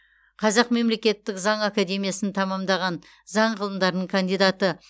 қазақ мемлекеттік заң академиясын тәмамдаған заң ғылымдарының кандидаты